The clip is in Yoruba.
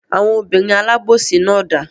Àwọn obìnrin alábòsí náà dà?